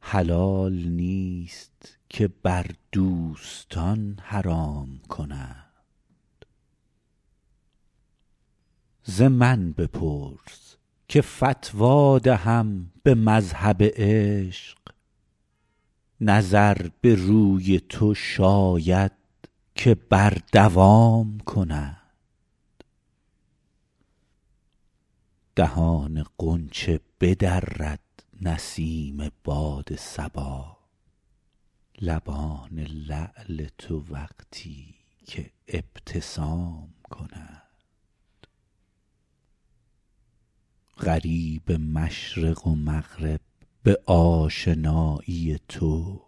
حلال نیست که بر دوستان حرام کنند ز من بپرس که فتوی دهم به مذهب عشق نظر به روی تو شاید که بر دوام کنند دهان غنچه بدرد نسیم باد صبا لبان لعل تو وقتی که ابتسام کنند غریب مشرق و مغرب به آشنایی تو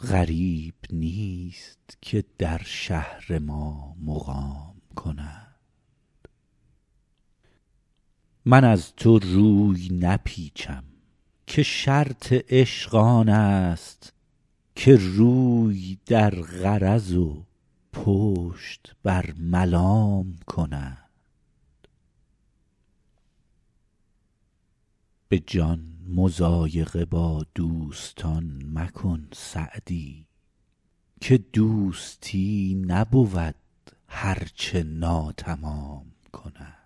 غریب نیست که در شهر ما مقام کنند من از تو روی نپیچم که شرط عشق آن است که روی در غرض و پشت بر ملام کنند به جان مضایقه با دوستان مکن سعدی که دوستی نبود هر چه ناتمام کنند